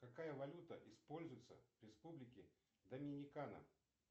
какая валюта используется в республике доминикана